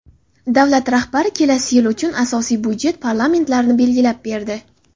Davlat rahbari kelasi yil uchun asosiy byudjet parametlarini belgilab berdi.